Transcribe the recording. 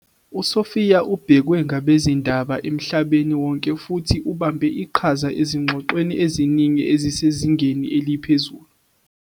USophia ubhekwe ngabezindaba emhlabeni wonke futhi ubambe iqhaza ezingxoxweni eziningi ezisezingeni eliphezulu.